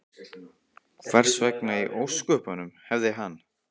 Hvers vegna í ósköpunum hefði hann?